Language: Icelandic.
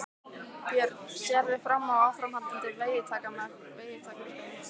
Björn: Sérðu fram á áframhaldandi veiðitakmarkanir?